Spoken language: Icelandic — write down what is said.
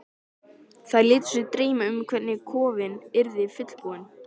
Þær létu sig dreyma um hvernig kofinn yrði fullbúinn.